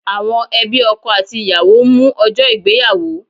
Àwọn ẹbí ọkọ àti ìyàwó ń mú ọjọ́ ìgbéyàwó